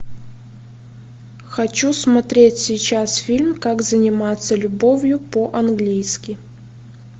хочу смотреть сейчас фильм как заниматься любовью по английски